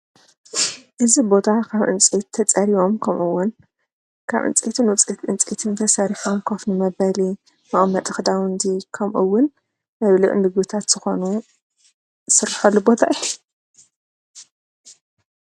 እዚ ቦታ ኻብ ዕንፀየቲ ተጸሪቦም ከምኡውን ካብ ዕንፀይቲ ዕንፀትን ተሰሪሖም ኮፍ መበሊ መቐመጢ ኽዳውንቲ ከምኡውን መብልዒ ንምግብታት ዝኾኑ ዝስረሖሉ ቦታ እዩ፡፡